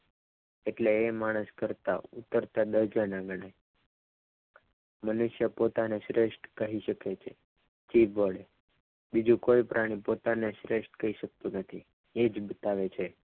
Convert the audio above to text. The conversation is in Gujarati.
એટલે એ માણસ કરતા ઉતરત મનુષ્ય પોતાની શ્રેષ્ઠ કહી શકે છે જીભ વડે બીજું કોઈ પ્રાણી પોતાને શ્રેષ્ઠ કહી શકતું નથી એ જ બતાવે છે.